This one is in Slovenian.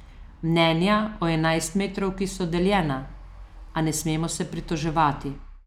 Mnenja o enajstmetrovki so deljena, a ne smemo se pritoževati.